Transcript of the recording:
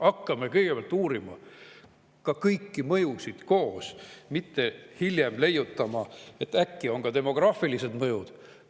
Hakkame kõigepealt uurima kõiki mõjusid koos, mitte hiljem leiutama, et äkki on ka demograafilised mõjud.